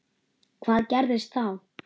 Hvað gerðist þá?